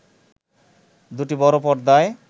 দুটি বড় পর্দায়